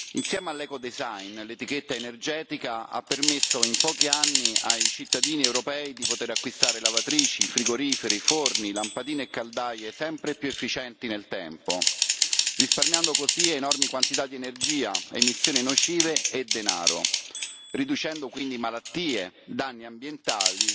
Insieme all' l'etichetta energetica ha permesso in pochi anni ai cittadini europei di poter acquistare lavatrici, frigoriferi, forni, lampadine e caldaie sempre più efficienti nel tempo, risparmiando così enormi quantità di energia, emissioni nocive e denaro, riducendo quindi malattie, danni ambientali